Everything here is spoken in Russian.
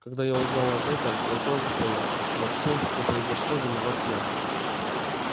когда я узнал об этом я сразу понял во всём что произошло виноват я